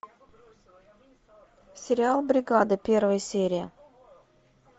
сериал бригада первая серия